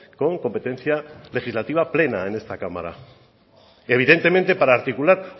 con competencia legislativa plena en esta cámara evidentemente para articular